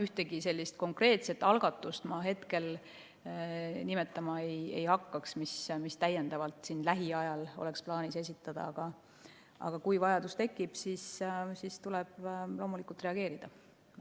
Ühtegi konkreetset algatust ma hetkel nimetama ei hakkaks, mis siin lähiajal oleks plaanis esitada, aga kui vajadus tekib, siis tuleb loomulikult reageerida.